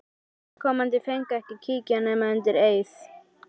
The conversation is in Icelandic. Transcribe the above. Óviðkomandi fengu ekki að kíkja nema undir eið.